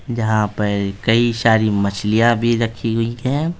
जहां पर कई सारी मछलियां भी रखी हुई है।